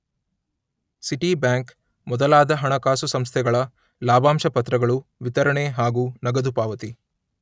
City bank ಮೊದಲಾದ ಹಣಕಾಸು ಸಂಸ್ಥೆಗಳ ಲಾಭಾಂಶ ಪತ್ರಗಳು ವಿತರಣೆ ಹಾಗೂ ನಗದು ಪಾವತಿ.